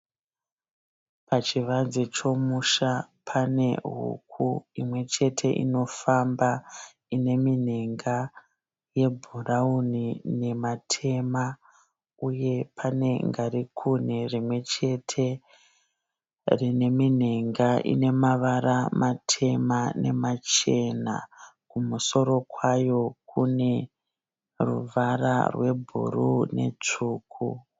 Pachivanze chomusha pane huku imwe chete inofamba. Ine minhenga yebhurauni nematema uye pane ngarikuni rimwe chete rine minhenga ine mavara matema nemachena. Kumusoro kwayo kune ruvara rwebhuru netsvuku.